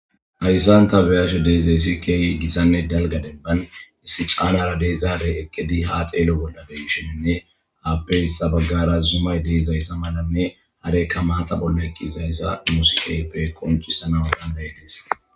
Hayssanta beyashe deezeysi keeyi gissanne dalga demban issi caanara deezaare ekkedi ha xeelo bolla femshininne aappey sabagara zumay deizayssa malanne harekka maata bolle kiizayssa musikeyppe koncisana danday des.